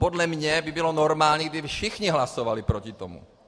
Podle mě by bylo normální, kdyby všichni hlasovali proti tomu.